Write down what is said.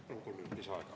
Palun kolm minutit lisaaega.